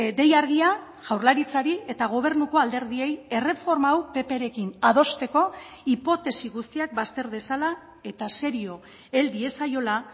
dei argia jaurlaritzari eta gobernuko alderdiei erreforma hau pprekin adosteko hipotesi guztiak bazter dezala eta serio hel diezaiola